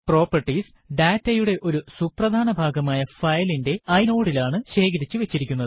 properties ഡാറ്റയുടെ ഒരു സുപ്രധാന ഭാഗമായ ഫയലിന്റെ inode ലാണ് ശേഖരിച്ചു വച്ചിരിക്കുന്നത്